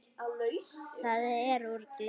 Það var úr gleri.